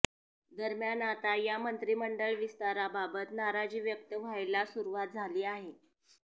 दरम्यान आता या मंत्रिमंडळ विस्ताराबाबत नाराजी व्यक्त व्हायला सुरुवात झाली आहे